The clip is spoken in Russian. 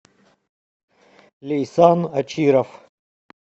ляйсан ачиров